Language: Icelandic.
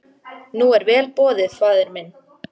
Nú er vel boðið faðir minn.